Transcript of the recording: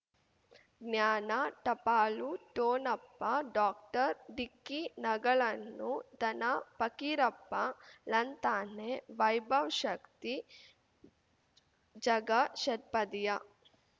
ಜ್ಞಾನ ಟಪಾಲು ಠೋಣಪ ಡಾಕ್ಟರ್ ಢಿಕ್ಕಿ ಣಗಳನು ಧನ ಫಕೀರಪ್ಪ ಳಂತಾನೆ ವೈಭವ್ ಶಕ್ತಿ ಝಗಾ ಷಟ್ಪದಿಯ